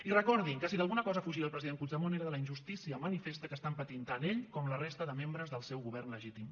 i recordin que si d’alguna cosa fugia el president puigdemont era de la injustícia manifesta que estan patint tant ell com la resta de membres del seu govern legítim